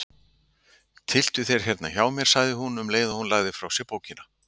Tylltu þér hérna hjá mér, sagði hún um leið og hún lagði frá sér bókina.